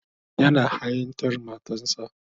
Yana ha'intar matarsa.